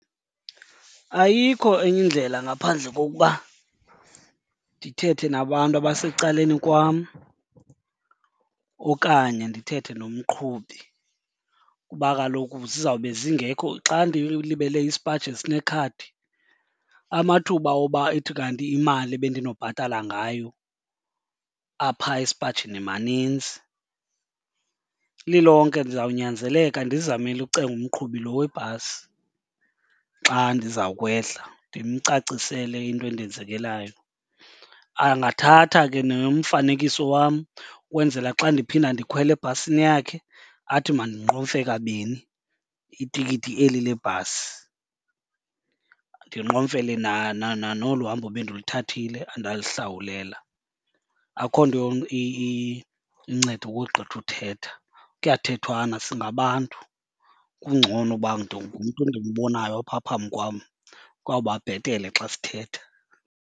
Ayikho enye indlela ngaphandle kokuba ndithethe nabantu abasecaleni kwam okanye ndithethe nomqhubi kuba kaloku zizawube zingekho. Xa ndilibele isipaji esinekhadi amathuba woba ithi kanti imali ebendinobhatala ngayo apha esipajini maninzi. Lilonke ndizawunyanzeleka ndizamile ucenga umqhubi lo webhasi xa ndiza kwehla ndimcacisele into endenzekelayo. Angathatha ke nomfanekiso wam ukwenzela xa ndiphinda ndikhwela ebhasini yakhe athi mandinqomfe kabini itikiti eli le bhasi, ndinqomfele nolu hambo bendiluthathile andalihlawulelwa. Akho nto inceda ukogqitha uthetha, kuyathethwana singabantu. Kungcono uba ngumntu endimbonayo apha phambi kwam, kwawuba bhetele xa sithetha.